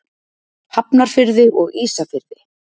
Hafnarfirði og Ísafirði.